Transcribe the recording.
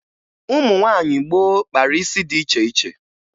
Ụmụ nwaanyị gboo kpara isi dị iche iche